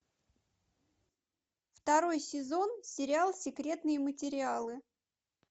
второй сезон сериал секретные материалы